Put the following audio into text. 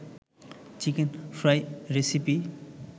chicken fry recipe